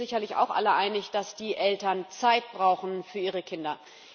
Wir sind uns sicherlich auch alle einig, dass die Eltern Zeit brauchen für ihre Kinder.